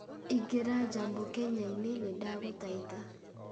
ĩngĩra jambo kenya-inĩ nĩ ndagũthaitha